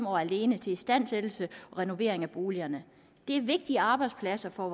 år alene til istandsættelse og renovering af boligerne det er vigtige arbejdspladser for